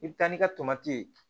I bɛ taa n'i ka tomati ye